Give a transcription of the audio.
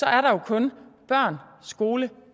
er der jo kun børn skole og